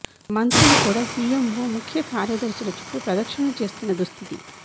మంత్రులు కూడా సీఎంఓ ముఖ్య కార్యదర్శుల చుట్టూ ప్రదక్షణలు చేస్తున్న దుస్థితి